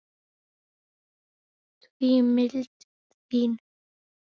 því mildin þín